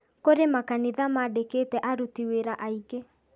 Kũrĩ makanitha maandĩkĩte aruti wĩra aingĩ